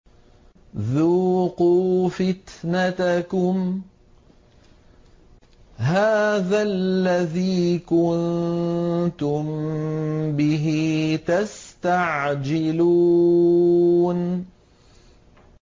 ذُوقُوا فِتْنَتَكُمْ هَٰذَا الَّذِي كُنتُم بِهِ تَسْتَعْجِلُونَ